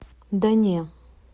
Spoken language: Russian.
да не